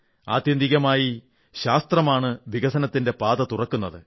ആത്യന്തികമായി ശാസ്ത്രമാണ് വികസനത്തിന്റെ പാത തുറക്കുന്നത്